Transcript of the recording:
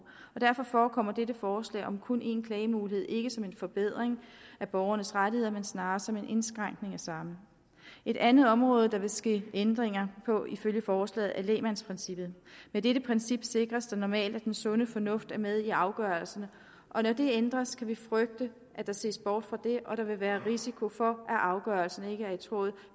og derfor forekommer dette forslag om kun en klagemulighed ikke som en forbedring af borgernes rettigheder men snarere som en indskrænkning af samme et andet område der vil ske ændringer på ifølge forslaget er lægmandsprincippet med dette princip sikres det normalt at den sunde fornuft er med i afgørelserne når det ændres kan vi frygte at der ses bort fra det og at der vil være risiko for at afgørelsen ikke er i tråd